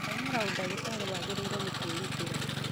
Gũthomera ũdagitarĩ wagĩrĩirwo nĩ kwĩrutĩra.